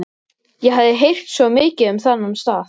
Ég hafði heyrt svo mikið um þennan stað.